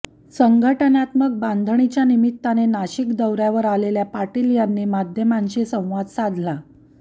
संघटनात्मक बांधणीच्या निमित्ताने नाशिक दौऱ्यावर आलेल्या पाटील यांनी माध्यमांशी संवाद साधला